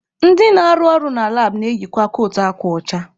Ndị na-arụ na labụ na-eyikwa kootu akwa ọcha.